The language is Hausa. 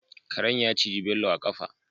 Karen ya ciji Bello a kafa